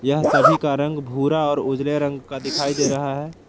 यह सभी का रंग भूरा और उजले रंग का दिखाई दे रहा है।